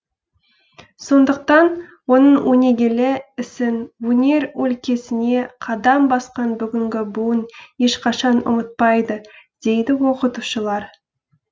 сондықтан оның өнегелі ісін өнер өлкесіне қадам басқан бүгінгі буын ешқашан ұмытпайды дейді оқытушылар